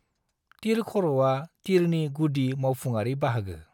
तीरखर'आ तीरनि गुदि मावफुङारि बाहागो।